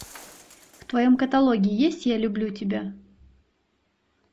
в твоем каталоге есть я люблю тебя